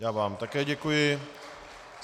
Já vám také děkuji.